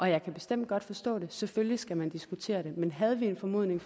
jeg kan bestemt godt forstå det selvfølgelig skal man diskutere det men havde vi en formodning